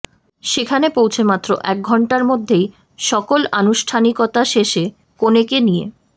সেখানে পৌঁছে মাত্র এক ঘণ্টার মধ্যেই সকল আনুষ্ঠানিকতা শেষে কনেকে নিয়ে